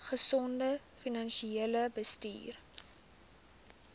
gesonde finansiële bestuur